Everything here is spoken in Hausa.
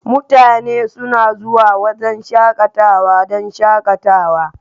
Mutane suna zuwa wurin shakatawa don shakatawa.